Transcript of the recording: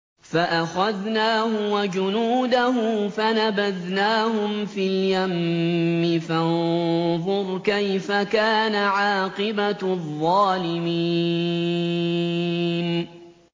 فَأَخَذْنَاهُ وَجُنُودَهُ فَنَبَذْنَاهُمْ فِي الْيَمِّ ۖ فَانظُرْ كَيْفَ كَانَ عَاقِبَةُ الظَّالِمِينَ